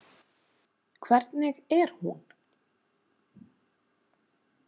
Hvernig er hún?